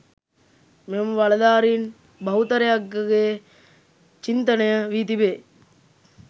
මෙම බලධාරීන් බහුතරයකගේ චින්තනය වී තිබේ.